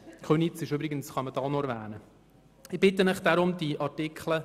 Köniz kann man an dieser Stelle übrigens auch noch erwähnen.